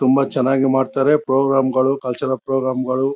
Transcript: ತುಂಬಾ ಚನ್ನಾಗಿ ಮಾಡ್ತಾರೆ ಪ್ರೋಗ್ರಾಮ್ ಗಳು ಕಲ್ಚರಲ್ ಪ್ರೋಗ್ರಾಮ್ ಗಳು.